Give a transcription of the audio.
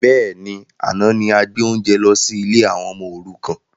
Bẹ́ẹ̀ni, àná ni a gbé oúnjẹ lọ sí ilé àwọn ọmọ òrukàn